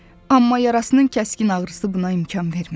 Amma yarasının kəskin ağrısı buna imkan vermədi.